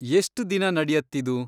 ಎಷ್ಟ್ ದಿನ ನಡ್ಯತ್ತಿದು?